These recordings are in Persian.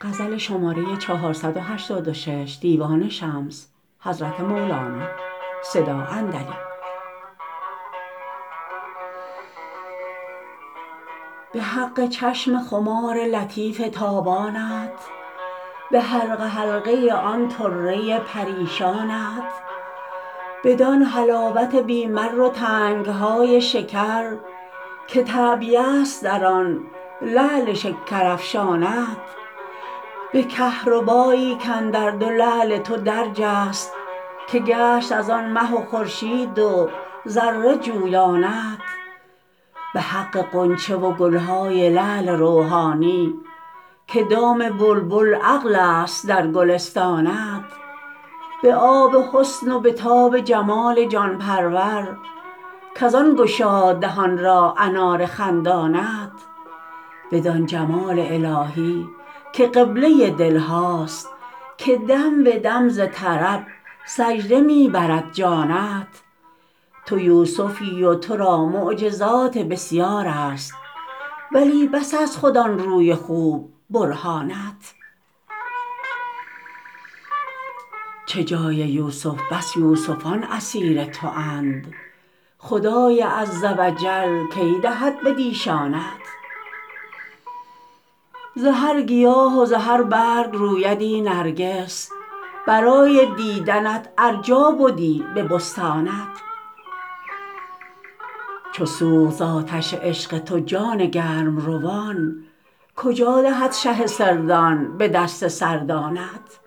به حق چشم خمار لطیف تابانت به حلقه حلقه آن طره پریشانت بدان حلاوت بی مر و تنگ های شکر که تعبیه ست در آن لعل شکر افشانت به کهربا یی کاندر دو لعل تو درج است که گشت از آن مه و خورشید و ذره جویانت به حق غنچه و گل های لعل روحانی که دام بلبل عقل ست در گلستانت به آب حسن و به تاب جمال جان پرور کز آن گشاد دهان را انار خندانت بدان جمال الهی که قبله دل هاست که دم به دم ز طرب سجده می برد جانت تو یوسفی و تو را معجزات بسیار است ولی بس ست خود آن روی خوب برهانت چه جای یوسف بس یوسفان اسیر توند خدای عز و جل کی دهد بدیشانت ز هر گیاه و ز هر برگ رویدی نرگس برای دیدنت از جا بدی به بستانت چو سوخت ز آتش عشق تو جان گرم روان کجا دهد شه سردان به دست سردانت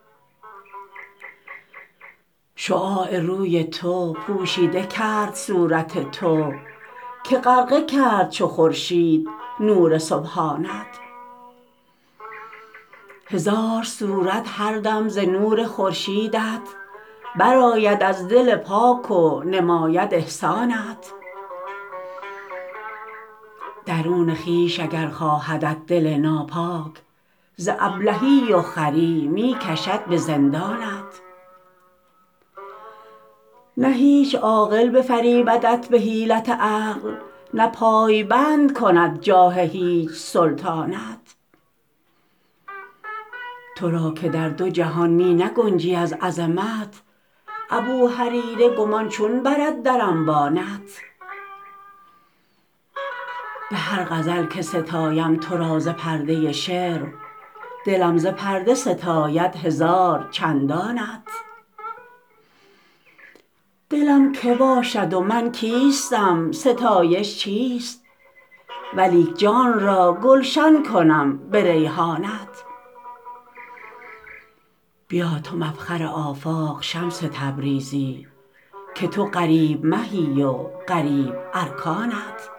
شعاع روی تو پوشیده کرد صورت تو که غرقه کرد چو خورشید نور سبحانت هزار صورت هر دم ز نور خورشید ت برآید از دل پاک و نماید احسانت درون خویش اگر خواهدت دل ناپاک ز ابلهی و خری می کشد به زندانت نه هیچ عاقل بفریبدت به حیلت عقل نه پای بند کند جاده هیچ سلطانت تو را که در دو جهان می نگنجی از عظمت ابوهریره گمان چون برد در انبانت به هر غزل که ستایم تو را ز پرده شعر دلم ز پرده ستاید هزار چندانت دلم کی باشد و من کیستم ستایش چیست ولیک جان را گلشن کنم به ریحانت بیا تو مفخر آفاق شمس تبریزی که تو غریب مهی و غریب ارکانت